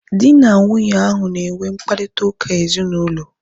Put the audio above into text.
Dị na nwunye ahu na enwe mkparịta ụka ezinaụlọ